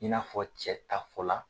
I n'afɔ cɛ ta fɔla